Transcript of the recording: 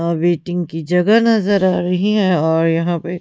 waiting की जगह नजर आ रही है और यहां पे--